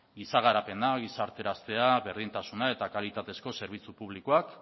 giza garapena gizarteraztea berdintasuna eta kalitatezko zerbitzu publikoak